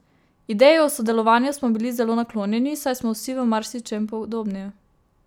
Ideji o sodelovanju smo bili zelo naklonjeni, saj smo si v marsičem podobni.